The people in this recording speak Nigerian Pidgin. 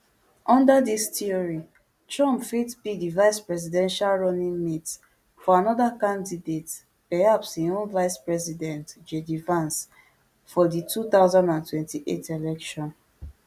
under dis theory trump fit be di vicepresidential runningmate to anoda candidate perhaps im own vicepresident jd vance for di two thousand and twenty-eight election